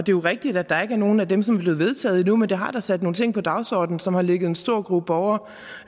jo rigtigt at der ikke er nogen af dem som er blevet vedtaget endnu men det har da sat nogle ting på dagsordenen som har ligget en stor gruppe borgere